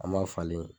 An b'a falen